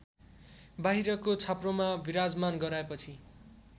बाहिरको छाप्रोमा विराजमान गराएपछि